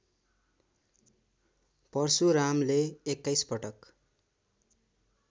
परशुरामले २१ पटक